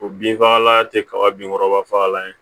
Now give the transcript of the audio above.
O bin fagala tɛ kaba bin kɔrɔba fagalan ye